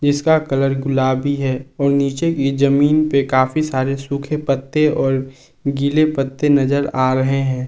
जिसका कलर गुलाबी है और नीचे की जमीन पे काफी सारे सूखे पत्ते और गिले पत्ते नजर आ रहे हैं।